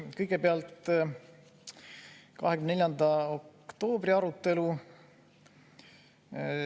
Kõigepealt 24. oktoobri arutelu.